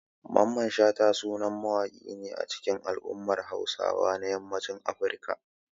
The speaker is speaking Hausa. Mamman Shata sanannen mawaƙi ne a cikin al'ummar Hausawa na yammacin Africa.